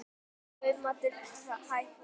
Kaupmáttur hækkar